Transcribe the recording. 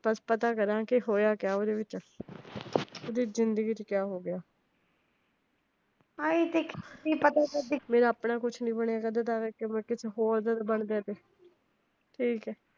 ਬੱਸ ਪਤਾ ਕਰਾ ਕਿ ਹੋਇਆ ਕਿਆ ਉਹਂਦੇ ਵਿੱਚ? ਉਹਂਦੀ ਜਿੰਦਗੀ ਚ ਕਿਆ ਹੋ ਗਿਆ ਮੇਰਾ ਆਪਣਾ ਕੁਛ ਨੀ ਬਣਿਆ ਹੈਗਾ ਕਿਸੇ ਹੋਰ ਦਾ ਤਾ ਬਣ ਜਾਵੇ ਠੀਕ ਆ